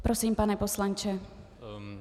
Prosím, pane poslanče.